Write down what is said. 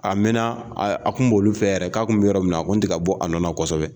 A mɛna a kun b'olu fe yen yɛrɛ ka kun be yɔrɔ min na a kun ti ka bɔ a nɔ na kɔsɛbɛ.